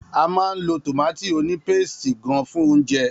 A máa ń lo tọ̀mátì ònípéstì gán fún oúnjẹ.